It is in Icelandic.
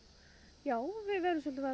já við verðum svolítið var